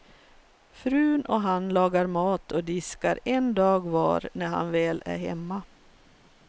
Frun och han lagar mat och diskar en dag var när han väl är hemma.